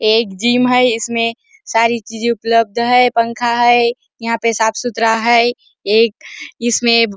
एक जिम है इसमें सारी चीजे उपलब्ध है पंखा है यहाँ पे साफ सुथरा है एक इसमें --